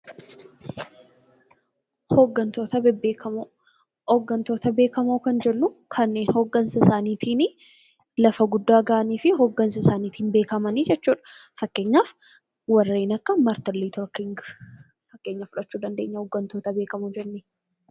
Hoggantoota bebbeekamoo Hoggantoota beekamoo kan jennu kanneen hoggansa isaaniitiin lafa guddaa gahanii fi higgansa isaqniitiin beekaman jechuu dha. Fakkeenyaaf kanneen akka Martin Luter King. Fakkeenya fudhachuu dandeenya hoggantoota beekamoo jennee.